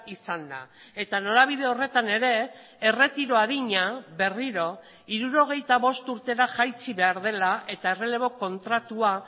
izanda eta norabide horretan ere erretiro adina berriro hirurogeita bost urtera jaitsi behar dela eta errelebo kontratua